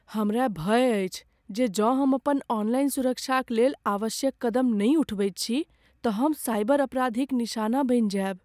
हमरा भय अछि जे जौं हम अपन ऑनलाइन सुरक्षाक लेल आवश्यक कदम नहि उठबैत छी तँ हम साइबर अपराधीक निशाना बनि जायब।